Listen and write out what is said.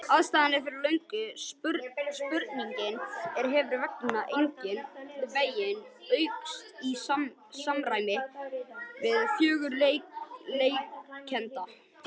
Aðstaðan er fyrir löngu sprungin og hefur engan veginn aukist í samræmi við fjölgun iðkenda.